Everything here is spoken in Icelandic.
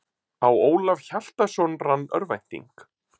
Á Ólaf Hjaltason rann örvænting.